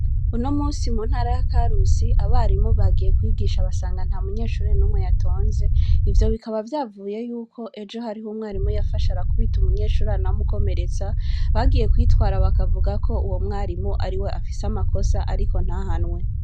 Uno musi mu ntara ya karusi abarimu bagiye kwigisha basanga nta munyeshurire n'umwe yatonze ivyo bikaba vyavuye yuko ejo hariho umwarimu yafasha arakubita umunyeshururana w'umukomeretsa bagiye kwitwara bakavuga ko uwo mwarimu ari we afise amakosa, ariko ntahanwe.